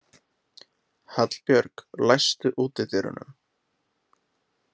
Hallbjörg, læstu útidyrunum.